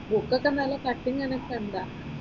ബുക്കൊക്കെ നല്ല കട്ടിയും കനവുമൊക്കെ ഉണ്ടോ?